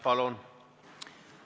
Palun!